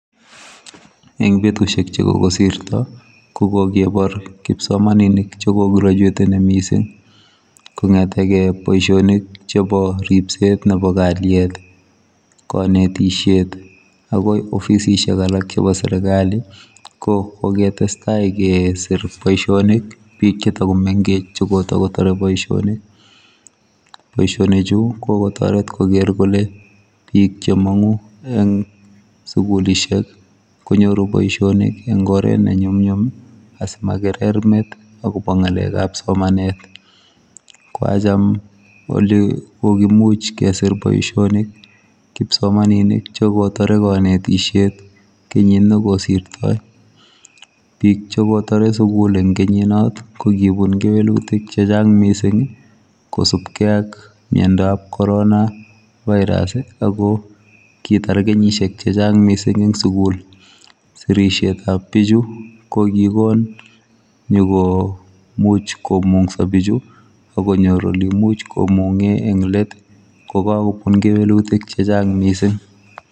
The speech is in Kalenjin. Eng betusiek chekoko sirto kokikebor kipsomaninik chekograduateni mising kongetekei boisionik chebo ripset nebo kalyet kanetisiet akoi ofisisiek alak chebo serikali kokoketestai kesir boisiet bik chechang chemengech chekotokotore boisioni boisionichu kokotoret koker kole bik chemangu eng sukulisiek konyoru boisionik eng oret nenyumnyum asimakerer met akobo ngalekab somanet kwacham ole kikimuch kesir kasi kipsomaninik chekitore kanetisiet kenyit nekosirtoi bik chekitore sukul eng kenyinot kokibun kewelutik chechang mising kosupkei ak miandop corona virus akokitar kenyisiek chechang eng sukul sirisietab bichu kokigon nyikomuch komungso bichu akonyor oleimuch komunge eng let kokakobun kewelutik chechang mising